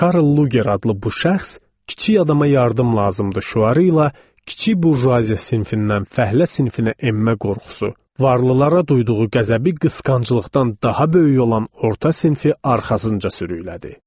Karl Luger adlı bu şəxs kiçik adama yardım lazımdır şüarı ilə kiçik burjuaziya sinfindən fəhlə sinfinə enmə qorxusu, varlılara duyduğu qəzəbi qısqanclıqdan daha böyük olan orta sinfi arxasınca sürüklədi.